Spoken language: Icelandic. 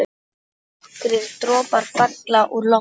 Nokkrir dropar falla úr lofti.